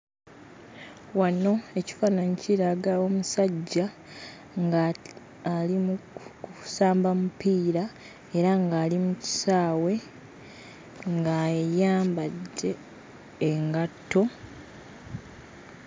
Wano ekifaananyi kiraga omusajja ng'ali mu kusamba mupiira era ng'ali mu kisaawe ng'ayambadde engatto.